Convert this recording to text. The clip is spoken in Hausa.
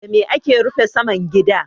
Da me ake rufe saman gida?